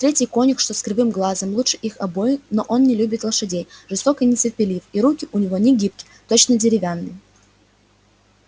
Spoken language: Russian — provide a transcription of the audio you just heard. третий конюх что с кривым глазом лучше их обоих но он не любит лошадей жесток и нетерпелив и руки у него не гибки точно деревянные